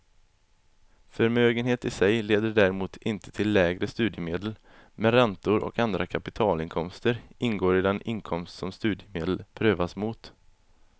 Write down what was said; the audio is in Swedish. Förmögenhet i sig leder däremot inte till lägre studiemedel, men räntor och andra kapitalinkomster ingår i den inkomst som studiemedel prövas mot.